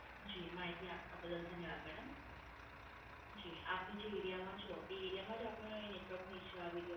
જી, માહિતી આપવા બદલ ધ્યનવાદ મેડમ. જી, આપને જે Area માં છો, તે Area માં જ આપનો Network નો Issue આવી રહ્યો છે?